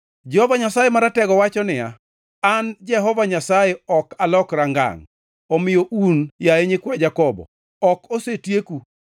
Jehova Nyasaye Maratego wacho niya, “An Jehova Nyasaye ok alokra ngangʼ. Omiyo un, yaye nyikwa Jakobo, ok osetieku.